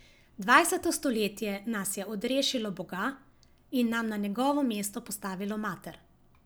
Dvajseto stoletje nas je odrešilo Boga in nam na njegovo mesto postavilo mater.